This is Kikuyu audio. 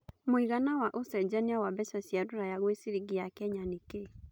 mũigana wa ũcenjanĩa wa mbeca cia rũraya gwĩ ciringi ya Kenya nĩ kĩĩ